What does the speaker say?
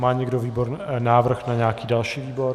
Má někdo návrh na nějaký další výbor?